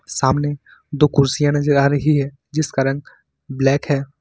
सामने दो कुर्सियां नजर आ रही है जिसका रंग ब्लैक है।